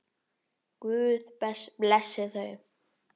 Guð blessi þau.